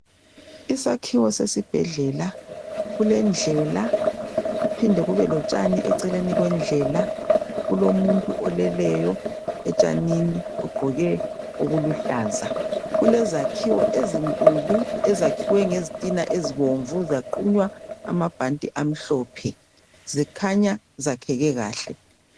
Isakhiwo sesibhedlela kulendlela kuphinde kube lotshani eceleni kwendlela. Kulomuntu oleleyo etshanini ogqoke okuluhlaza. Kulezakhiwo ezinkulu ezakhiwe ngezitina ezibomvu zaqunya amabhanti amhlophe zikhanya zakheke kahle.